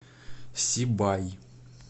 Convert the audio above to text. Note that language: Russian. сибай